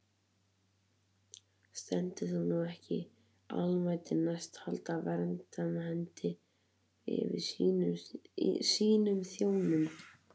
Stendur það nú ekki almættinu næst að halda verndarhendi yfir sínum þjónum?